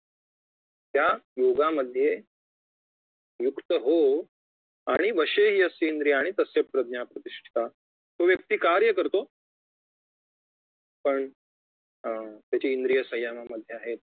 त्या योगामध्ये युक्त हो आणि वशे ही यस्येन्द्रियाणि तस्य प्रज्ञा प्रतिष्ठिता तो व्यक्ती कार्य करतो पण अं त्याची इंद्रिय संयमामधे आहेत